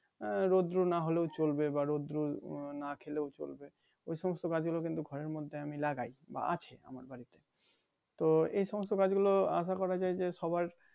আহ রোদ্র নাহ হলেও চলবে বা রোদ্র না খেলেও চলবে ওই সমস্ত গাছ গুলো কিন্তু ঘরের মধ্যে আমি লাগাই বা আছে আমার বাড়িতে তো এই সমস্ত গাছ গুলো আশা করা যায় যে সবার